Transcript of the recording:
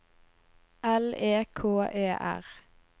L E K E R